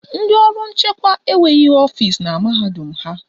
Ndị ọrụ nchekwa enweghị ọfisi na mahadum ha